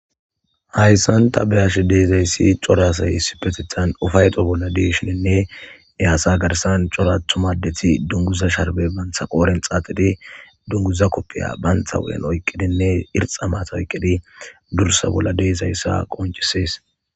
hayssan ta beyash deezayssi cora asay issi petethan ufayeto bolla deeshininne eaasa garsan corathumaddeti dunguza sharbe bantha qooren xaaxidi dunguza koppiya baantha wu7en oyqqidinne irxa maata oyqqidi dursa bolla deezayssa qoncisees